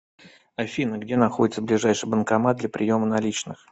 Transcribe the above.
афина где находится ближайший банкомат для приема наличных